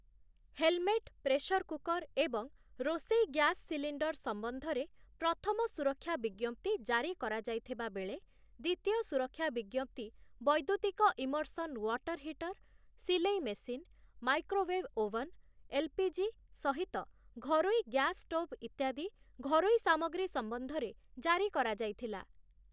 Helmet, pressure cooker ଏବଂ ରୋଷେଇ gas cylinder ସମ୍ବନ୍ଧରେ ପ୍ରଥମ ସୁରକ୍ଷା ବିଜ୍ଞପ୍ତି ଜାରି କରା ଯାଇଥିବା ବେଳେ ଦ୍ୱିତୀୟ ସୁରକ୍ଷା ବିଜ୍ଞପ୍ତି ବୈଦ୍ୟୁତିକ ଇମର୍ସନ୍ ୱାଟର୍ ହିଟର୍, ସିଲେଇ ମେସିନ୍, ମାଇକ୍ରୋୱେଭ୍ ଓଭନ, ଏଲ୍‌.ପି.ଜି. ସହିତ ଘରୋଇ ଗ୍ୟାସ୍ ଷ୍ଟୋଭ୍ ଇତ୍ୟାଦି ଘରୋଇ ସାମଗ୍ରୀ ସମ୍ବନ୍ଧରେ ଜାରି କରା ଯାଇଥିଲା ।